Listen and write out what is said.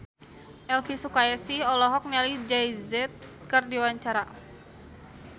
Elvi Sukaesih olohok ningali Jay Z keur diwawancara